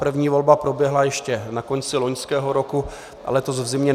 První volba proběhla ještě na konci loňského roku a letos v zimě.